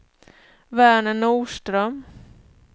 Verner Norström